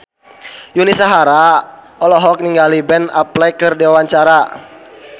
Yuni Shara olohok ningali Ben Affleck keur diwawancara